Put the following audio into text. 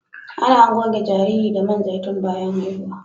Ana goge jariri da man zaitun bayan haihuwa